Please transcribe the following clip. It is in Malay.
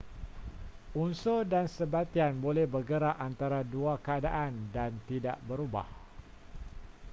unsur dan sebatian boleh bergerak antara dua keadaan dan tidak berubah